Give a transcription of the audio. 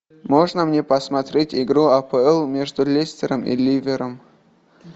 можно мне посмотреть игру апл между лестером и ливером